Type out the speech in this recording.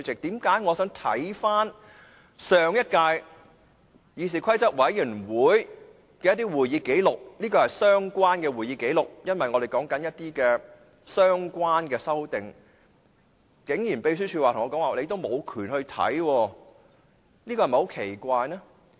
最近我想翻看上屆議事規則委員會的會議紀錄，因為我們正在討論修訂《議事規則》，而這是相關的會議紀錄，但秘書處竟然說我無權閱覽。